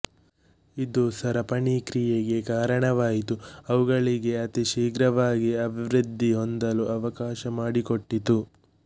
ಇದು ಸರಪಣಿ ಕ್ರಿಯೆಗೆ ಕಾರಣವಾಯಿತು ಅವುಗಳಿಗೆ ಅತಿ ಶೀಘ್ರವಾಗಿ ಅಭಿವೃದ್ಧಿ ಹೊಂದಲು ಅವಕಾಶ ಮಾಡಿಕೊಟ್ಟಿತು